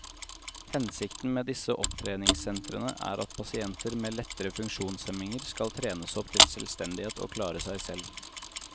Hensikten med disse opptreningssentrene er at pasienter med lettere funksjonshemninger skal trenes opp til selvstendighet og klare seg selv.